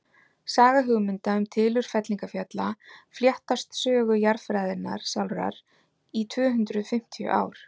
saga hugmynda um tilurð fellingafjalla fléttast sögu jarðfræðinnar sjálfrar í tvö hundruð fimmtíu ár